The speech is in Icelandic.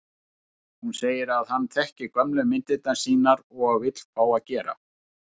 Hún segir að hann þekki gömlu myndirnar sínar og vill fá að gera